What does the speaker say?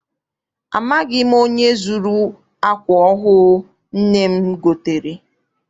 Amaghị m onye zuru akwa ọhụụ nne m gotere.